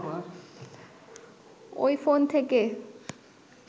ওই ফোন থেকে